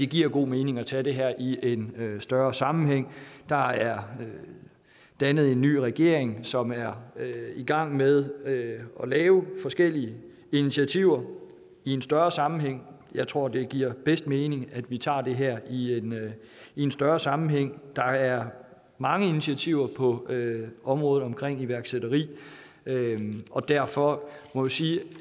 giver god mening at tage det her i en større sammenhæng der er dannet en ny regering som er i gang med at lave forskellige initiativer i en større sammenhæng jeg tror det giver bedst mening at vi tager det her i en større sammenhæng der er mange initiativer på området omkring iværksætteri og derfor må jeg sige